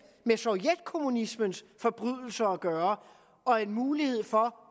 med sovjetkommunismens forbrydelser at gøre og en mulighed for